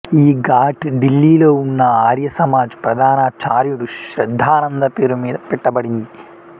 ఈ ఘాట్ ఢిల్లీలో ఉన్న ఆర్యసమాజ్ ప్రధానాచార్యుడు శ్రద్ధానంద పేరు మీద పెట్టబడింది